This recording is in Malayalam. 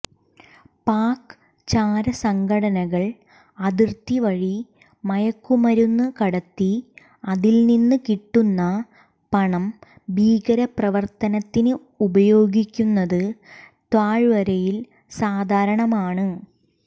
പാക് ചാരസംഘടനകൾ അതിർത്തി വഴി മയക്കുമരുന്ന് കടത്തി അതിൽ നിന്ന് കിട്ടുന്ന പണം ഭീകരപ്രവർത്തനത്തിന് ഉപയോഗിക്കുന്നത് താഴ്വരയിൽ സാധാരണമാണ്